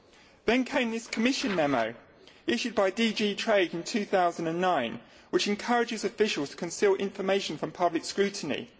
Then there was the Commission memo issued by DG Trade in 2009 which encouraged officials to conceal information from public scrutiny.